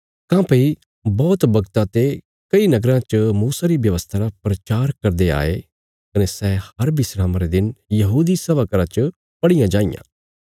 काँह्भई बौहत बगता ते कई नगराँ च मूसा री व्यवस्था रा प्रचार करदे आये कने सै हर विस्रामा रे दिन यहूदी सभा घर च पढ़ियां जांईयां